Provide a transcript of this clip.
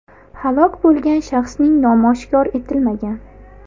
Halok bo‘lgan shaxsning nomi oshkor etilmagan.